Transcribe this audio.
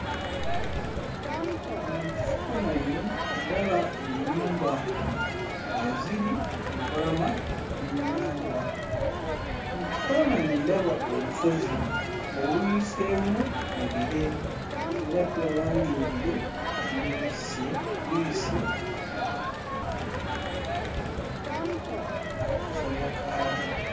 Mu kifaananyi ndaba ennyumba eziri ku lubalama lw'ennyanja. Mu kifaananyi ndaba olusozi oluyiseemu mu bire era tulaba nga ebire birubisse bibisse akasolya kaalwo.